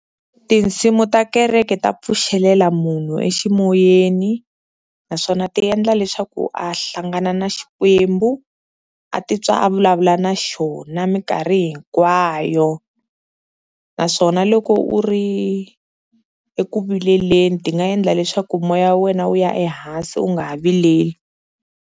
Tinsimu ta kereke ta pfuxelela munhu eximoyeni naswona ti endla leswaku a hlangana na xikwembu a titwa a vulavula na xona minkarhi hinkwayo, naswona loko u ri eku vileleni ti nga endla leswaku moya wa wena wu ya ehansi u nga ha vileli.